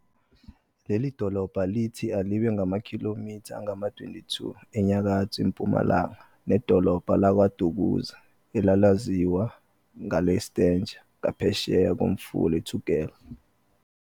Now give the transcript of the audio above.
Leli dolobba lithi alibe ngamakhilomitha angama-22 enyakatho-mpumalanga nedolobha laKwaDukuza, elalaziwa ngelaseStanger, ngaphesheya komfula uThukela.